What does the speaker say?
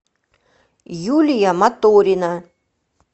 юлия маторина